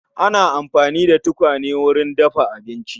Ana amfani da tukwane wurin dafa abinci